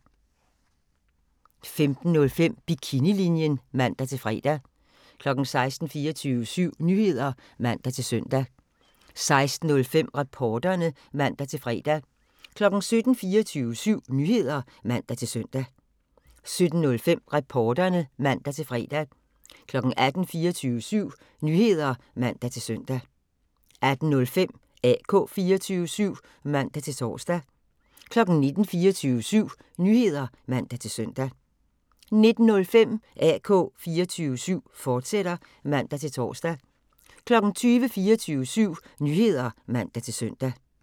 15:05: Bikinilinjen (man-fre) 16:00: 24syv Nyheder (man-søn) 16:05: Reporterne (man-fre) 17:00: 24syv Nyheder (man-søn) 17:05: Reporterne (man-fre) 18:00: 24syv Nyheder (man-søn) 18:05: AK 24syv (man-tor) 19:00: 24syv Nyheder (man-søn) 19:05: AK 24syv, fortsat (man-tor) 20:00: 24syv Nyheder (man-søn)